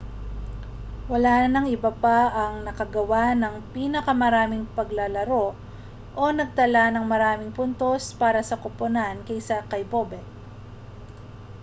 wala nang iba pa ang nakagawa ng pinakamaraming paglalaro o nagtala ng maraming puntos para sa koponan kaysa kay bobek